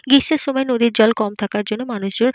গ্রীষ্মের সময় নদীর জল কম থাকার জন্য মানুষজন --